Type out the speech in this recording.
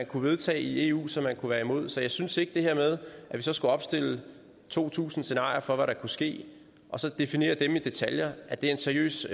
kunne vedtage i eu og som man kunne være imod så jeg synes ikke at det her med at vi så skulle opstille to tusind scenarier for hvad der kunne ske og så definere dem i detaljer er en seriøs